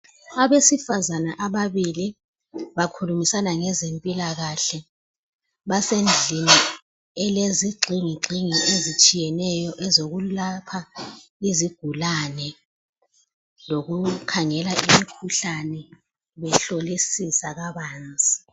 Abesifazana ababili bakhulumisana ngezempilakahle basendlini elezigxingigxingi ezitshiyeneyo ezokulapha izigulane lokukhangela imikhuhlane behlolisisa kabanzi.